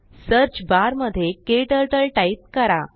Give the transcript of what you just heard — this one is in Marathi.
सर्च बारमध्येKTurtleटाईप करा